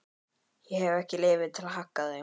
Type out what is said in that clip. Ég hef ekki leyfi til að hagga þeim.